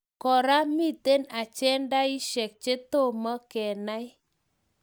Kora, mitei agendishek chetomo kenai